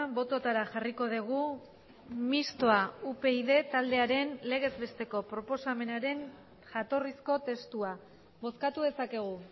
bototara jarriko dugu mistoa upyd taldearen legez besteko proposamenaren jatorrizko testua bozkatu dezakegu